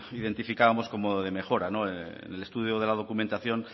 identificábamos como de mejora en el estudio de la documentación